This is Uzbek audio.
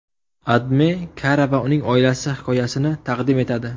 AdMe Kara va uning oilasi hikoyasini taqdim etadi .